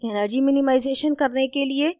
energy minimization करने के लिए: